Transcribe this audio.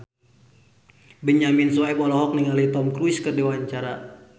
Benyamin Sueb olohok ningali Tom Cruise keur diwawancara